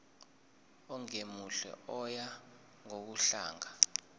ongemuhle oya ngokudlanga